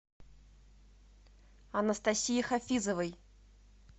анастасии хафизовой